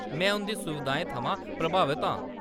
में उंʼदी सुविधाएं थमां प्रभावत आं।